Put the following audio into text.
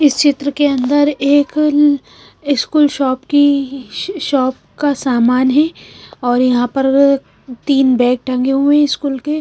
इस चित्र के अंदर एक स्कूल शॉप की शॉप का सामान है और यहां पर तीन बैग ढंगे हुए हैं स्कूल के।